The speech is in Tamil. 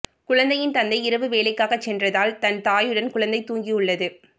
குழந்தையின் தந்தை இரவு வேலைக்காக சென்றதால் தன் தாயுடன் குழந்தை தூங்கியுள்ளது